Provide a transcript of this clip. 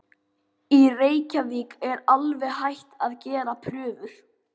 Í Reykjavík er alveg hætt að gera prufur.